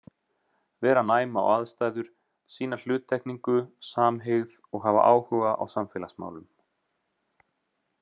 Vera næm á aðstæður, sýna hluttekningu, samhygð og hafa áhuga á samfélagsmálum.